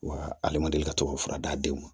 Wa ale ma deli ka to ka fura d'aw ma